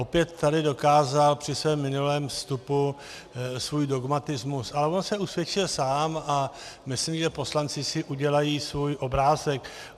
Opět tady dokázal při svém minulém vstupu svůj dogmatismus, ale on se usvědčil sám a myslím, že poslanci si udělají svůj obrázek.